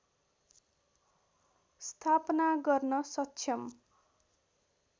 स्थापना गर्न सक्षम